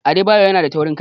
Adebayor yanada taurin kai.